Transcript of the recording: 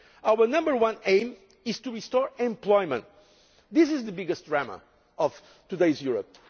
Our number one aim is to restore employment this is the biggest drama of today's Europe.